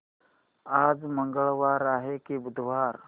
आज मंगळवार आहे की बुधवार